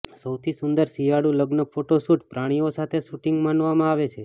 સૌથી સુંદર શિયાળુ લગ્ન ફોટો શૂટ પ્રાણીઓ સાથે શૂટિંગ માનવામાં આવે છે